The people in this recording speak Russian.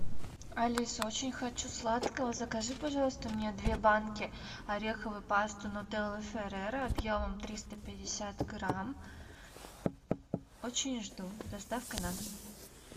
алиса очень хочу сладкого закажи пожалуйста мне две банки ореховой пасты нутелла ферера объемом триста пятьдесят грамм очень жду с доставкой на дом